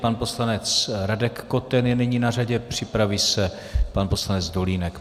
Pan poslanec Radek Koten je nyní na řadě, připraví si pan poslanec Dolínek.